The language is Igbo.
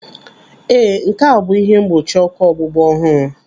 Ee, nke a bụ ihe mgbochi ọkụ ọgbụgba ọhụrụ.